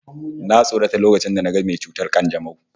Na tsorata lokacin da naga mai ciwon kanjamau